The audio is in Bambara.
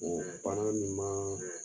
bana min man